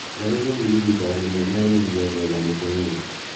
Ngarĩ gũthiĩ ihinda rĩnene India gwetha 'mũtumia'